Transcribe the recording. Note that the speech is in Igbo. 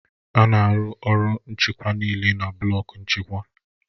A na-arụ ọrụ nchịkwa niile na blọku nchịkwa